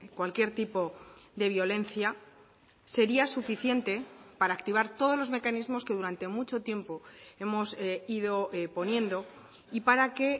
cualquier tipo de violencia sería suficiente para activar todos los mecanismos que durante mucho tiempo hemos ido poniendo y para que